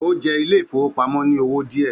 Ó jẹ ilé ìfowópamọ́ ní owó díẹ̀